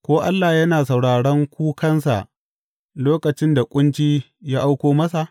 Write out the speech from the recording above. Ko Allah yana sauraron kukansa lokacin da ƙunci ya auko masa?